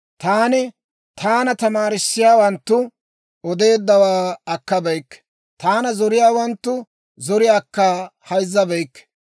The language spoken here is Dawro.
Taani taana tamaarissiyaawanttu odeeddawaa akkabeyikke; taana zoriyaawanttu zoriyaakka hayzzabeykke.